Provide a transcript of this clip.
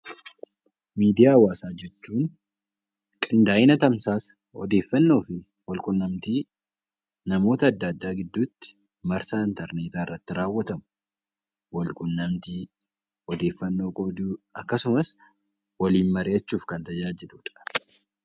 Miidiyaa hawaasaa jechuun qindaa'ina tamsaasa odeeffannoo fi wal quunnamtii namoota adda addaa gidduu tti marsaa interneetaa irratti raawwatamu, wal quunnamtii odeeffannoo qooduu akkasumas waliin mari'achuuf kan tajaajilu dha.